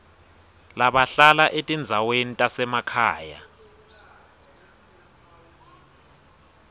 labahlala etindzaweni tasemakhaya